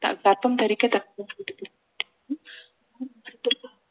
க~ கர்ப்பம் தரிக்க